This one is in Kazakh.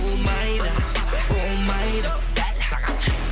болмайды болмайды бәрі саған